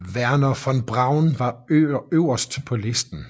Wernher von Braun var øverst på listen